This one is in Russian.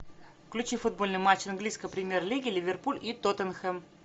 включи футбольный матч английской премьер лиги ливерпуль и тоттенхэм